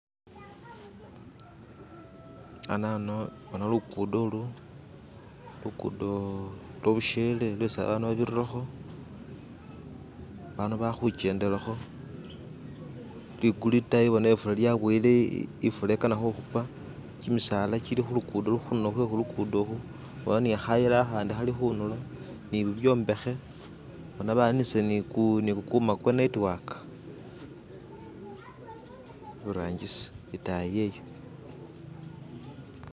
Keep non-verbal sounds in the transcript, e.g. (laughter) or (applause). "(skip)" anano ano lukuddo olu lukuddo lwa bushele lwesi abaanu babirirrakho, baanu balikhukhendelakho "(skip)" likulu itayi bona ifula yaboyile ifula ikana khukhupa kimisaala kili khulukuddo khunulo kwe'khulukuudo khu bona ni khayila akhandi khali khunulo ni bibyombekhe bona baninisile ni kukuma kwa netiwaka "(skip)" iburangisi itayi iyeyo "(skip)".